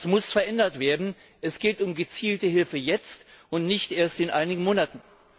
Das muss geändert werden. Es geht um gezielte Hilfe jetzt, und nicht erst in einigen Monaten.